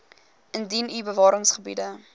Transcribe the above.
indien u bewaringsgebiede